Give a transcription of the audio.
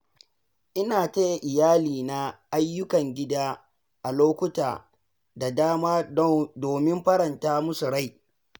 Ina taya iyalina ayyukan gida a lokuta da dama domin faranta musu rai.